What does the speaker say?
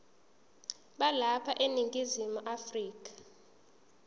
balapha eningizimu afrika